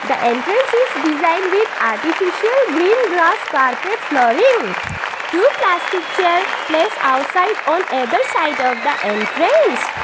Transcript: the entrance is design with artificial green grass carpet flooring. Two plastic chair place outside on either side of the entrance.